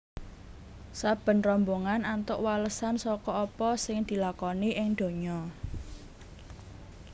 Saben rombongan antuk walesan saka apa sing dilakoni ing donya